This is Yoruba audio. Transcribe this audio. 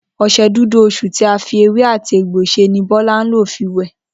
O̩s̩e̩ Dúdú Osùn tí a fi ewé àti egbò s̩e ni Bó̩lá ń lò fi wè̩